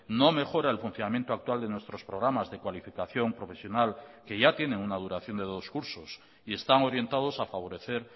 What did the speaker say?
no mejora el funcionamiento actual de nuestros programas de cualificación profesional que ya tienen una duración de dos cursos y están orientados a favorecer